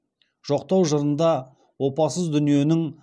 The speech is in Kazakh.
жоқтау жырында опасыз дүниенің